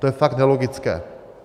To je fakt nelogické.